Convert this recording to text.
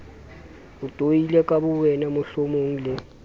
itoile ka bowena mohlomong le